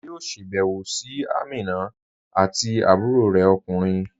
A yọ̀ọ́ sábẹwò sí Àmínà àti àbúrọ̀ rẹ̀ okùnrin